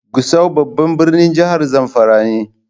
Gusau babban birnin jihar zamfara ne.